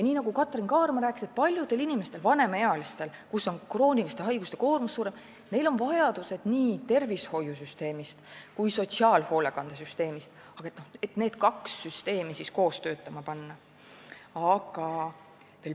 Nii nagu Katrin Kaarma rääkis, paljudel vanemaealistel inimestel, kellel krooniliste haiguste koormus on suurem, on vaja, et tervishoiusüsteem ja sotsiaalhoolekandesüsteem oleksid koos töötama pandud.